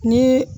Ni